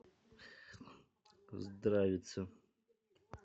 здравица